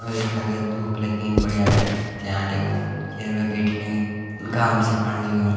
और यखा गा धूप लगीं बढ़िया ढंग से त्यांन ल्यो चेयर मा बैठिके घाम सिकण लग्युं।